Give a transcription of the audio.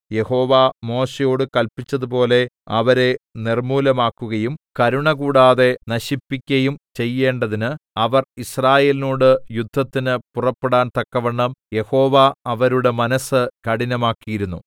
യഹോവ മോശെയോട് കല്പിച്ചതുപോലെ അവരെ നിർമ്മൂലമാക്കുകയും കരുണ കൂടാതെ നശിപ്പിക്കയും ചെയ്യേണ്ടതിന് അവർ യിസ്രായേലിനോട് യുദ്ധത്തിന് പുറപ്പെടാൻ തക്കവണ്ണം യഹോവ അവരുടെ മനസ്സ് കഠിനമാക്കിയിരുന്നു